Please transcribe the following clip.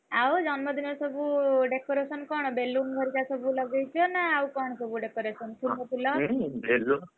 ଆଉ ଜନ୍ମଦିନ ରେ ସବୁ decoration କଣ? ସବୁ balloon ଘରିକା ସବୁ ଲଗେଇଛ? ନା ଆଉ କଣ ସବୁ decoration କରୁଛ ନ ଫୁଲମୂଲ